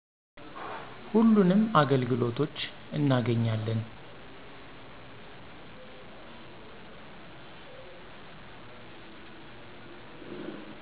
ሁሉንም አገልግሎቶች እናገኛለን።